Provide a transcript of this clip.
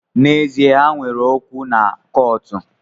N’ezie, ha nwere okwu na kọọtụ